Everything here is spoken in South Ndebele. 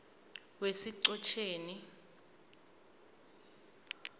wesichotjeni